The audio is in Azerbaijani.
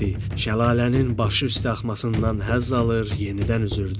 Şəlalənin başı üstə axmasından həzz alır, yenidən üzürdü.